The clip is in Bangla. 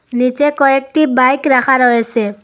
নীচে কয়েকটি বাইক রাখা রয়েসে।